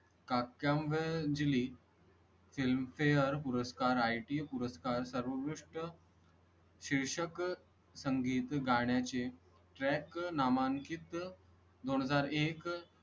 काकां वेळ दिली. filmfare पुरस्कार ITA पुरस्कार, सर्वोत्कृष्ट. शीर्षक, संगीत गाण्या चे track नामांकीत, दोन हजार एक